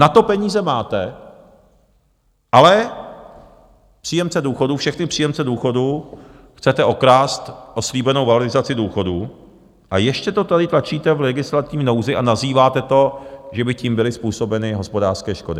Na to peníze máte, ale příjemce důchodů, všechny příjemce důchodů, chcete okrást o slíbenou valorizaci důchodů, a ještě to tady tlačíte v legislativní nouzi a nazýváte to, že by tím byly způsobeny hospodářské škody.